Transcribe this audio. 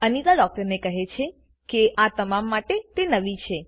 અનિતા ડૉક્ટરને કહે છે કે આ તમામ માટે તે નવી છે